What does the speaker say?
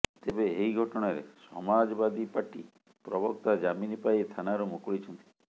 ତେବେ ଏହି ଘଟଣାରେ ସମାଜବାଦୀ ପାର୍ଟି ପ୍ରବକ୍ତା ଜାମିନ ପାଇ ଥାନାରୁ ମୁକୁଳିଛନ୍ତି